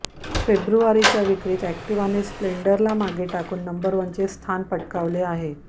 फेब्रुवारीच्या विक्रीत अॅक्टिवाने स्प्लेंडरला मागे टाकून नंबर वनचे स्थान पटकावले आहे